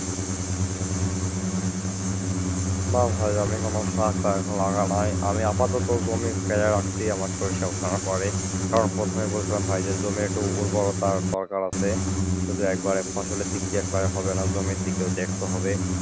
না ভাই আমি কোন শাক টাক লাগায় নাই, আমি আপাতত জমি ফেলায় রাখছি আমার সরিষা ওঠার পরে। কারণ প্রথমেই বলেছিলাম ভাই জমির একটু উর্বরতার দরকার আছে, শুধু একবারে ফসলের দিকে দেখলে হবে না জমির দিকেও দেখতে হবে।